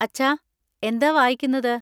അച്ഛാ, എന്താ വായിക്കുന്നത്?